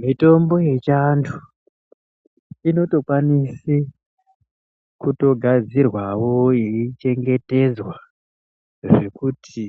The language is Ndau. Mitombo yechiantu inotokwanise kutogadzirwawo yeichengetedzwa zvekuti